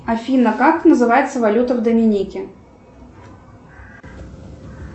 афина как называется валюта в доминике